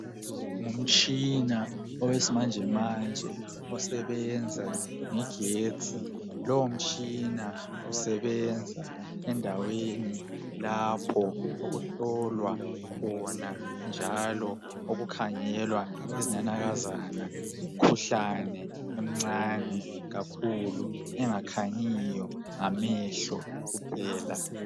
Ngumtshina owesimanjemanje, osebenza ngegetsi. Lowomtshina usebenza endaweni lapho okuhlolwa khona, njalo okukhangelwa izinanakazana, lemkhuhlane emncane kakhulu. Engakhanyiyo ngamehlo kuphela.